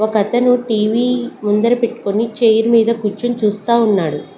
ఒక అతను టీవీ ముందర పెట్కొని చైర్ మీద కూర్చుని చూస్తా ఉన్నాడు.